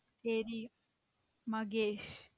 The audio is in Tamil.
தெரியும் மகேஷ்